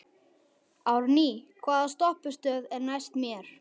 Árný, hvaða stoppistöð er næst mér?